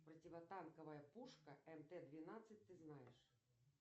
противотанковая пушка мт двенадцать ты знаешь